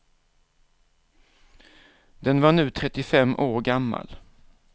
Den var nu trettiofem år gammal.